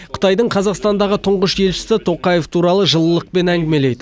қытайдың қазақстандағы тұңғыш елшісі тоқаев туралы жылылықпен әңгімелейді